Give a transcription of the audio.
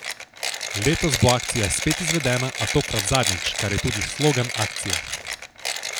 Letos bo akcija spet izvedena, a tokrat zadnjič, kar je tudi slogan akcije.